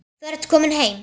Þú ert komin heim.